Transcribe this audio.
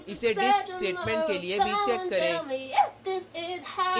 इसे disp statement के लिए भी चेक करें